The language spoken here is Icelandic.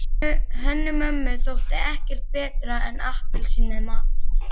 Hönnu-Mömmu þótti ekkert betra en appelsín með mat.